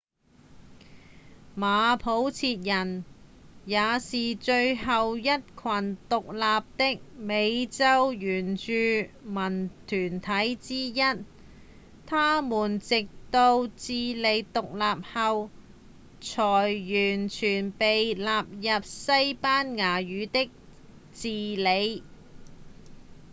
馬普切人也是最後一群獨立的美洲原住民團體之一他們直到智利獨立後才完全被納入西班牙語的治理